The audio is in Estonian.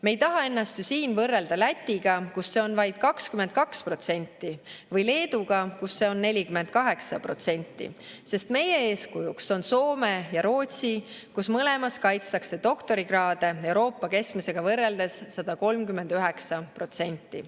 Me ei taha ennast ju siin võrrelda Lätiga, kus see on vaid 22%, või Leeduga, kus see on 48%, sest meie eeskujuks on Soome ja Rootsi, kus mõlemas kaitstakse doktorikraade Euroopa keskmisega võrreldes 139%.